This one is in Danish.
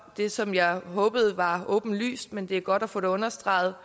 det som jeg håbede var åbenlyst men det var godt at få det understreget